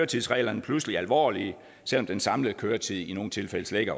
tids reglerne pludselig alvorlige selv om den samlede køretid i nogle tilfælde slet ikke